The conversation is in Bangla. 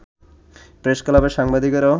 প্রেসক্লাবের সাংবাদিকরাও